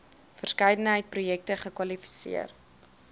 verskeidenheid projekte kwalifiseer